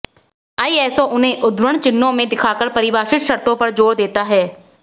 ISO उन्हें उद्धरण चिह्नों में दिखाकर परिभाषित शर्तों पर जोर देता है